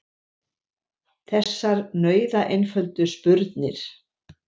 Þessar nauðaeinföldu spurnir.